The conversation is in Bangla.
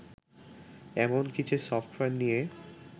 এমন কিছু সফটওয়্যার নিয়ে